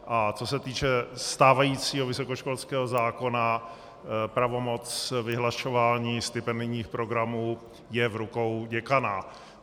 A co se týče stávajícího vysokoškolského zákona, pravomoc vyhlašování stipendijních programů je v rukou děkana.